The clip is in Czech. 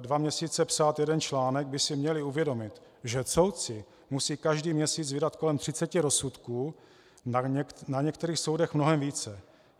dva měsíce psát jeden článek, by si měli uvědomit, že soudci musí každý měsíc vydat kolem 30 rozsudků, na některých soudech mnohem více.